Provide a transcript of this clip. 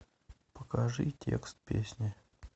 покажи текст песни